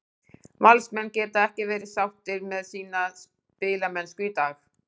Valsmenn geta ekki verið sáttir með sína spilamennsku í dag.